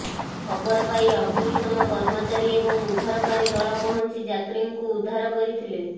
ଖବର ପାଇ ଅଗ୍ନିଶମ କର୍ମଚାରୀ ଏବଂ ଉଦ୍ଧାରକାରୀ ଦଳ ପହଞ୍ଚି ଯାତ୍ରୀଙ୍କୁ ଉଦ୍ଧାର କରିଥିଲେ